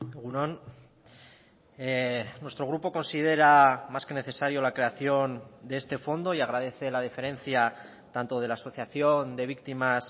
egun on nuestro grupo considera más que necesario la creación de este fondo y agradece la deferencia tanto de la asociación de víctimas